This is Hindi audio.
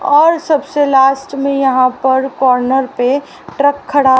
और सबसे लास्ट में यहां पर कॉर्नर पे ट्रक खड़ा--